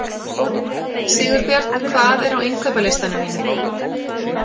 Sigurbjörn, hvað er á innkaupalistanum mínum?